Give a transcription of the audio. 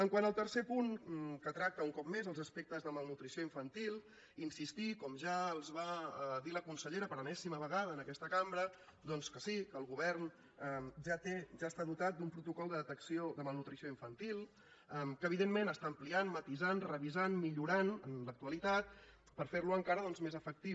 quant al tercer punt que tracta un cop més els aspectes de malnutrició infantil insistir com ja els va dir la consellera per enèsima vegada en aquesta cambra doncs que sí que el govern ja té ja està dotat d’un protocol de detecció de malnutrició infantil que evidentment està ampliant matisant revisant millorant en l’actualitat per fer lo encara doncs més efectiu